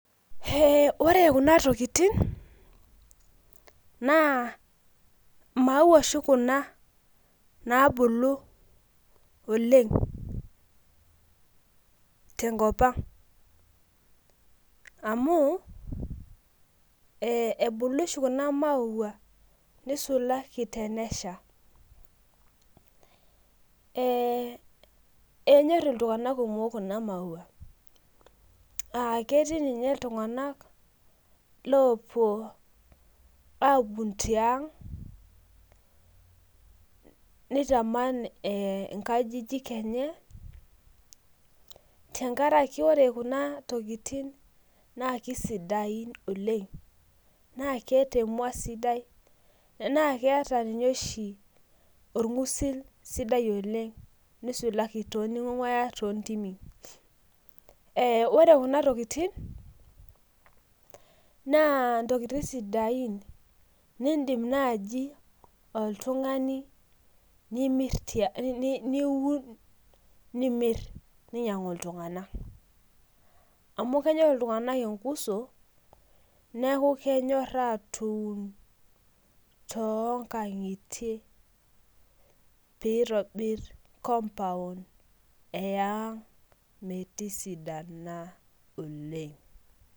Ore Kuna tokitin naa maua oshi Kuna nabulu oleng tenkop ang amu ebulu oshi Kuna maua nisulaki tenesha ee nyor iltung'ana kumok Kuna maua ketii ninye iltung'ana oopuo aun tiag nitaman nkajijik enye tenkaraki ore Kuna tokitin naa kaisidai oleng naa keeta emua sidai naa keta ninye oshi orng'usil sidail oleng nisulaki teninguaya too ntimi ore Kuna tokitin naa ntokitin sidain nidim naaji oltung'ani niuma nimir nainyiang'u iltung'ana amu kenyor iltung'ana enkuso neeku kenyoor atum too nkang'itie pee eitobir compound yaag metisidana oleng